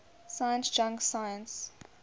science junk science